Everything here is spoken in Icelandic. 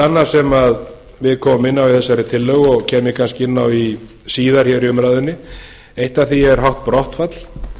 annað sem við komum inn á í þessari tillögu og kem ég kannski inn á það síðar í umræðunni eitt af því er hátt brottfall